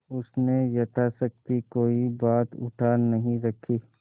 उसने यथाशक्ति कोई बात उठा नहीं रखी